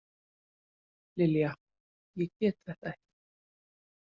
Lilja, ég get þetta ekki.